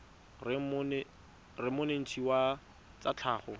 reng monetetshi wa tsa tlhago